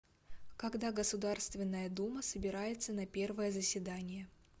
когда государственная дума собирается на первое заседание